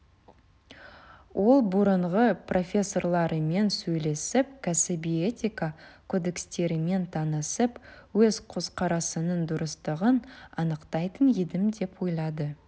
ол бұрынғы профессорларымен сөйлесіп кәсіби этика кодекстерімен танысып өз көзқарасының дұрыстығын анықтайтын едім деп ойлайды